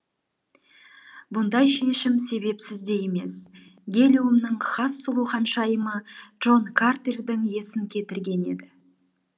бұндай шешім себепсіз де емес гелиумның хас сұлу ханшайымы джон картердің есін кетірген еді